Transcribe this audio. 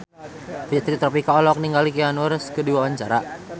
Fitri Tropika olohok ningali Keanu Reeves keur diwawancara